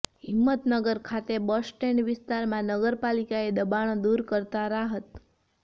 હિંમતનગર ખાતે bus stand વિસ્તારમાં નગરપાલિકાએ દબાણો દૂર કરતાં રાહત